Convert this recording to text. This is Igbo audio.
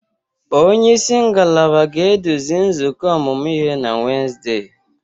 Onye isi ngalaba ga-eduzi nzukọ ọmụmụ ihe na Wednesde